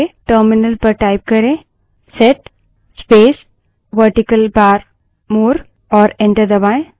terminal पर type करें set space vertical bar more और enter दबायें